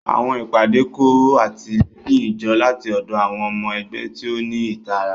Àwọn ìpàdé kó àtìlẹ́yìn jọ láti ọ̀dọ̀ àwọn ọmọ ẹgbẹ́ tí ó ní ìtara.